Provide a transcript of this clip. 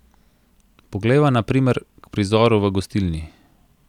Poglejva na primer k prizoru v gostilni.